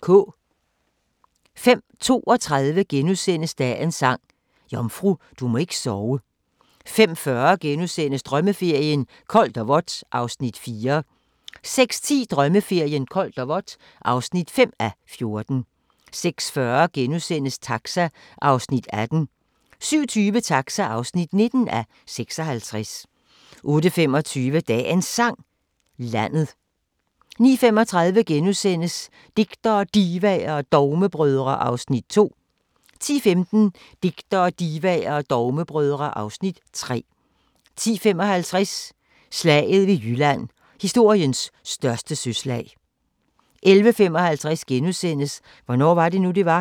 05:32: Dagens Sang: Jomfru, du må ikke sove * 05:40: Drømmeferien: Koldt og vådt (4:14)* 06:10: Drømmeferien: Koldt og vådt (5:14) 06:40: Taxa (18:56)* 07:20: Taxa (19:56) 08:25: Dagens Sang: Landet 09:35: Digtere, Divaer og Dogmebrødre (Afs. 2)* 10:15: Digtere, Divaer og Dogmebrødre (Afs. 3) 10:55: Slaget ved Jylland – historiens største søslag 11:55: Hvornår var det nu, det var? *